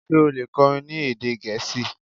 ṣe o le kọrin ní èdè Gẹẹsi?